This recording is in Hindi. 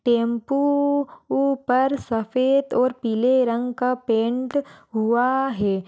टेम्पू पर सफेद और पीले रंग का पैंट हुआ है।